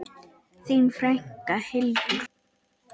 Þín frænka, Hildur.